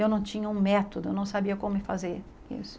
Eu não tinha um método, eu não sabia como fazer isso.